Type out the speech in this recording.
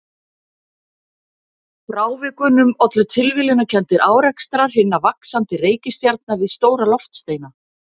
Frávikunum ollu tilviljanakenndir árekstrar hinna vaxandi reikistjarna við stóra loftsteina.